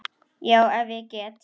Já, ef ég get.